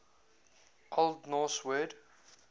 old norse word